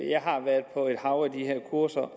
jeg har været på et hav af de her kurser